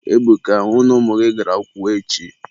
Ebuka, hụ na ụmụ gị gara akwụkwọ echi.